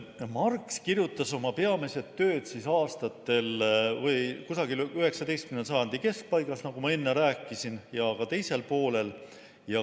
Marx kirjutas oma peamised tööd kusagil 19. sajandi keskpaigas, nagu ma enne rääkisin, ja ka sajandi teisel poolel.